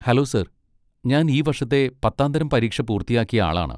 Hello sir, ഞാൻ ഈ വർഷത്തെ പത്താംതരം പരീക്ഷ പൂർത്തിയാക്കിയ ആളാണ്.